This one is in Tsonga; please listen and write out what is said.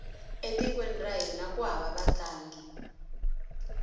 e tikweni ra hina ku hava vatlangi